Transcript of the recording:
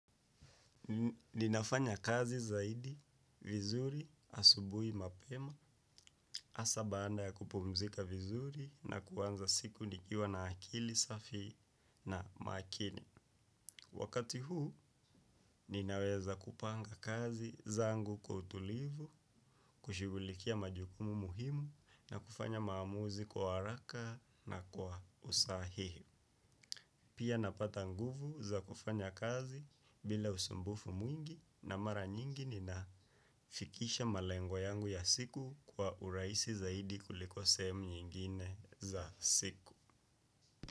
Ninafanya kazi zaidi, vizuri, asubuhi mapema, hasaa baada ya kupumzika vizuri na kuanza siku nikiwa na akili safi na makini. Wakati huu, ninaweza kupanga kazi zangu kwa utulivu, kushigulikia majukumu muhimu na kufanya maamuzi kwa haraka na kwa usahihi. Pia napata nguvu za kufanya kazi bila usumbufu mwingi na mara nyingi ninafikisha malengo yangu ya siku kwa urahisi zaidi kuliko sehemu nyingine za siku.